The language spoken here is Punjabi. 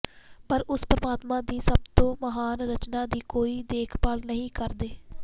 ਪਰ ਉਸ ਪਰਮਾਤਮਾ ਦੀ ਸਭ ਤੋਂ ਮਹਾਨ ਰਚਨਾ ਦੀ ਕੋਈ ਦੇਖ ਭਾਲ ਨਹੀਂ ਕਰਦੇ